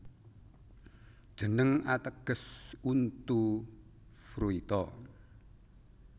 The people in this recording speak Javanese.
Jeneng ateges untu Fruita